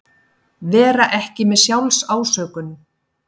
Vera ekki með SJÁLFSÁSÖKUN